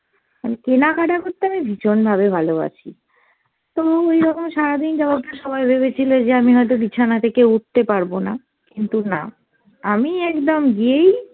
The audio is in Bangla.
মানে কেনাকাটা করতে আমি ভীষণ ভাবে ভালোবাসি। তো ওইরকম সারাদিন সবাই ভেবেছিল যে আমি হয়তো বিছানা থেকে উঠতে পারবো না, কিন্তু না আমি একদম গিয়েই